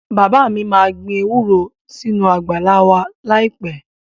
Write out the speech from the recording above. Bàbá mi máa gbin ewúro sínú àgbàlá wa láìpẹ́